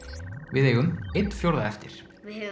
við eigum einn fjórða eftir við